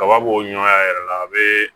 Kaba b'o ɲɔn a yɛrɛ la a be